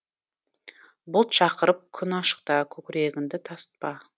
бұлт шақырып күн ашықта көкірегіңді тасытпа